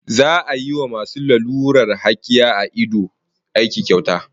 Za'a yi wa masu lalurar hakiya a ido aiki kyauta